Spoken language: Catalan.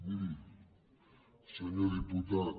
miri senyor diputat